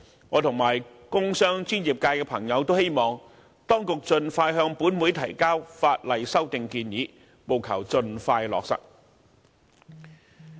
我和工商專業界的朋友也希望當局盡快向立法會提交法例修訂建議，務求盡快落實。